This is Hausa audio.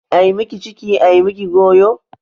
Ai miki ciki ai miki goyo.